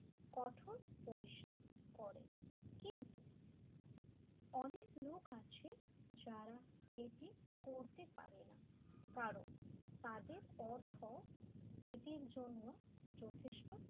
কঠোর পরিশ্রম করে কিন্তু অনেক লোক আছে যারা এটি করতে পারেনা কারণ তাদের অর্থ এটার জন্য যথেষ্ট